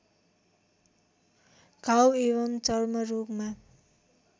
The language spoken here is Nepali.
घाउ एवं चर्मरोगमा